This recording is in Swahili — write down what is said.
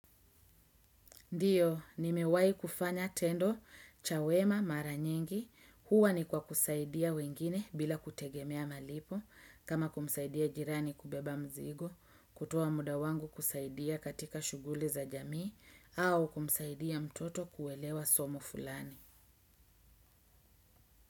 Ndiyo, nimewai kufanya tendo, cha wema, mara nyengi, huwa ni kwa kusaidia wengine bila kutegemea malipo, kama kumsaidia jirani kubeba mzigo, kutowa muda wangu kusaidia katika shuguli za jamii, au kumsaidia mtoto kuelewa somo fulani.